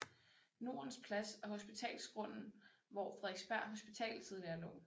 Nordens Plads og Hospitalsgrunden hvor Frederiksberg Hospital tidligere lå